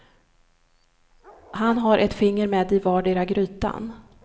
Han har ett finger med i vardera grytan.